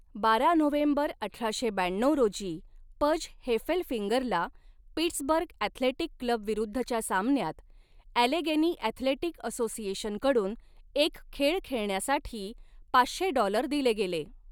बारा नोव्हेंबर अठराशे ब्याण्णऊ रोजी, पज हेफेलफिंगरला, पिट्सबर्ग अॅथलेटिक क्लब विरुद्धच्या सामन्यात अॅलेगेनी अॅथलेटिक असोसिएशनकडून एक खेळ खेळण्यासाठी पाचशे डॉलर दिले गेले.